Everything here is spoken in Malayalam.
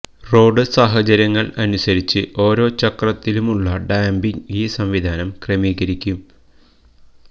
റോഡ് സാഹചര്യങ്ങള് അനുസരിച്ച് ഓരോ ചക്രത്തിലുമുള്ള ഡാംപിങ് ഈ സംവിധാനം ക്രമീകരിക്കും